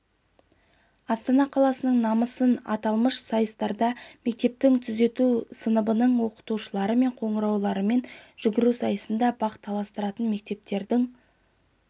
астана қаласының намысын аталмыш сайыстарда мектептің түзету сыныбының оқушылары мен қоңыраумен жүгіру сайысында бақ таластыратын мектептің